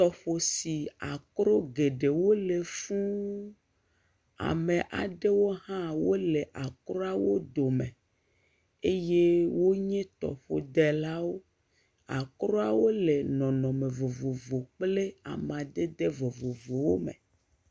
Tɔƒo si akro geɖewo le fuu, ame aɖewo hã wole akroawo dome eye wonye tɔƒodelawo. Akroawo le nɔnɔme vovovo kple amadede vovovowo me.